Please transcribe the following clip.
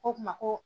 Ko kuma ko